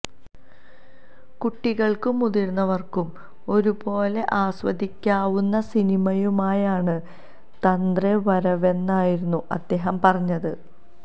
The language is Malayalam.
കുട്ടികള്ക്കും മുതിര്ന്നവര്ക്കും ഒരുപോലെ ആസ്വദിക്കാവുന്ന സിനിമയുമായാണ് തന്രെ വരവെന്നായിരുന്നു അദ്ദേഹം പറഞ്ഞത്